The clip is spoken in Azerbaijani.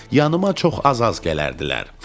yanıma çox az-az gələrdilər.